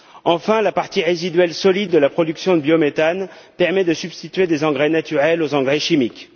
Enfin, la partie résiduelle solide de la production de biométhane permet de substituer des engrais naturels aux engrais chimiques.